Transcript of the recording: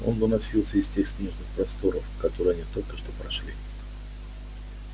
он доносился из тех снежных просторов которые они только что прошли